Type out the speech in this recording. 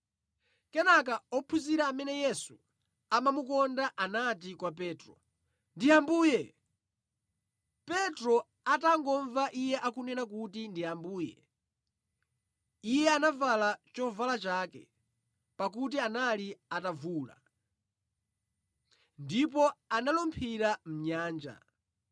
Kenaka ophunzira amene Yesu amamukonda anati kwa Petro, “Ndi Ambuye!” Petro atangomva iye akunena kuti ndi Ambuye, iye anavala chovala chake (pakuti anali atavula) ndipo analumphira mʼnyanja.